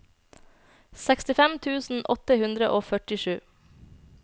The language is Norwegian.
sekstifem tusen åtte hundre og førtisju